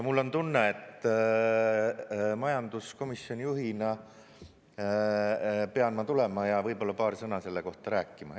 Mul on tunne, et majanduskomisjoni juhina pean ma tulema ja võib-olla paar sõna selle kohta rääkima.